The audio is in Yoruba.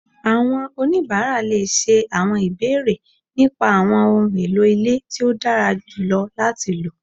Àwọn onibara le ṣé àwọn ìbéèrè nípa àwọn ohùn èlò ilé tí o dára jùlọ láti ló